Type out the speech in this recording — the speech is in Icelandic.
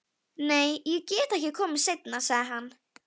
Nei, ég get ekki komið seinna, sagði hann.